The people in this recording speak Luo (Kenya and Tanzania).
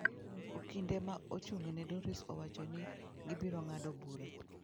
Okinde ma ochung'ne Doris owacho ni gibiro ng'ado bura.